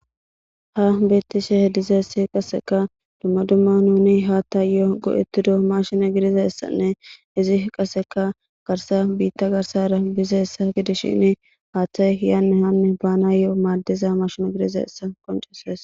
Ha beeththishe dizayssi qasseka dumma dumma nuuni haaththaayoo go7eththido maashine gidizayssanne izi qasseka garssa biiththa garssaara bizayssa gidishiini haaththay yaanne haanne baanaayoo maaddiza mashine gidizayssa qonccisses.